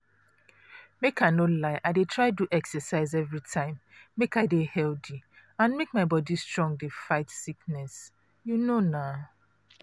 make i no lie i dey try do exercise everytime make i dey healthy and make my body strong dey fight sickness. um